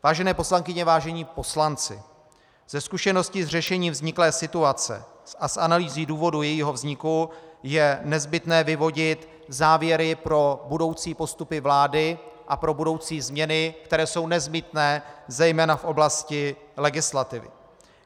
Vážené poslankyně, vážení poslanci, ze zkušenosti s řešením vzniklé situace a z analýzy důvodu jejího vzniku je nezbytné vyvodit závěry pro budoucí postupy vlády a pro budoucí změny, které jsou nezbytné zejména v oblasti legislativy.